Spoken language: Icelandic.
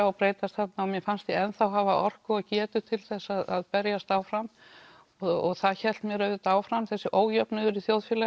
og breyta þarna og mér fannst ég enn þá hafa orku og getu til þess að berjast áfram og það hélt mér áfram þessi ójöfnuður